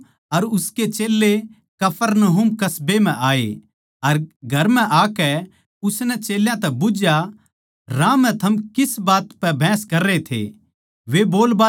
यीशु अर उसके चेल्लें कफरनहूम कस्बे म्ह आये अर घर म्ह आकै उसनै चेल्यां तै बुझ्झया राह म्ह थम किस बात पै बहस कररे थे